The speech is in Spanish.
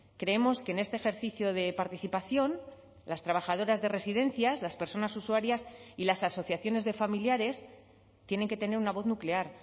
creemos que en este ejercicio de participación las trabajadoras de residencias las personas usuarias y las asociaciones de familiares tienen que tener una voz nuclear